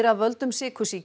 af völdum sykursýki